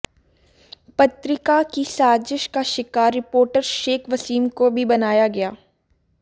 पत्रिका की साजिश का शिकार रिपोर्टर शेख वसीम को भी बनाया गया